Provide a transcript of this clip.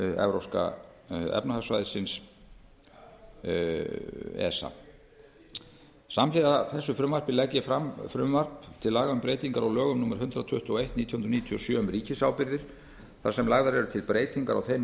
evrópska efnahagssvæðisins esa samhliða þessu frumvarpi legg ég fram frumvarp til laga um breyting á lögum númer hundrað tuttugu og eitt nítján hundruð níutíu og sjö um ríkisábyrgðir þar sem lagðar eru til breytingar á þeim